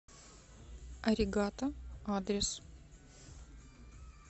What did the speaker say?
аригато адрес